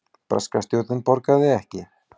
Breska stjórnin borgaði ekki